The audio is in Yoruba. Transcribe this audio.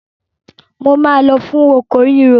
Mo máa lọ fún oko ríro.